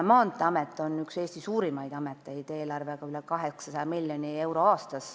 Maanteeamet on üks Eesti suurimaid ameteid, eelarvega üle 800 miljoni euro aastas.